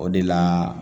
O de la